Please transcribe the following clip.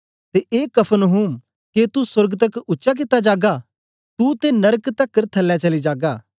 ते ए कफरनहूम के तू सोर्ग तकर उच्चा कित्ता जागा तू ते नरक तकर थल्लै चली जागा